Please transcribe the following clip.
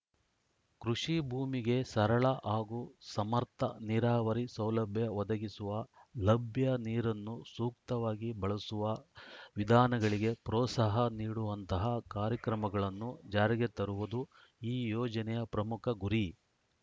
ಕೃಷಿ ಭೂಮಿಗೆ ಸರಳ ಹಾಗೂ ಸಮರ್ಥ ನೀರಾವರಿ ಸೌಲಭ್ಯ ಒದಗಿಸುವ ಲಭ್ಯ ನೀರನ್ನು ಸೂಕ್ತವಾಗಿ ಬಳಸುವ ವಿಧಾನಗಳಿಗೆ ಪ್ರೋತ್ಸಾಹ ನೀಡುವಂತಹ ಕಾರ್ಯಕ್ರಮಗಳನ್ನು ಜಾರಿಗೆ ತರುವುದು ಈ ಯೋಜನೆಯ ಪ್ರಮುಖ ಗುರಿ